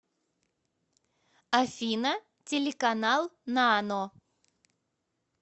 афина телеканал нано